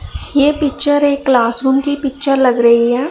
ये पिक्चर एक classroom की पिक्चर लग रही है।